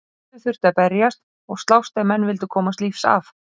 Fyrir öllu þurfti að berjast og slást ef menn vildu komast lífs af.